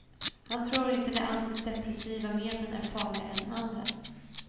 Han tror inte de antidepressiva medlen är farligare än andra.